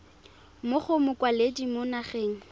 mo go mokwaledi mo nageng